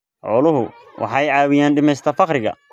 Xooluhu waxay caawiyaan dhimista faqriga.